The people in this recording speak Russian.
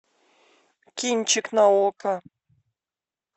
кинчик на окко